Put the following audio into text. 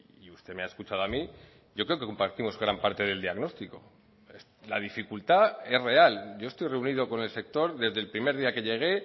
y usted me ha escuchado a mí yo creo que compartimos gran parte del diagnóstico la dificultad es real yo estoy reunido con el sector desde el primer día que llegué